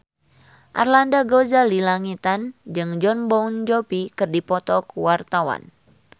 Arlanda Ghazali Langitan jeung Jon Bon Jovi keur dipoto ku wartawan